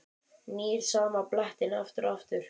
Nýr sama blettinn aftur og aftur.